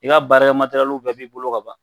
I ka baara kɛ bɛɛ bi bolo ka ban